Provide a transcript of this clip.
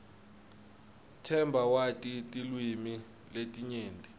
themba wati tilwimi letinyenti